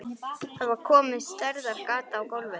Það var komið stærðar gat í gólfið.